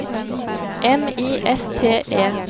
M I S T E